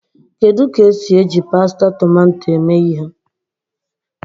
Kedu ka esi eji pasta tomato eme ihe?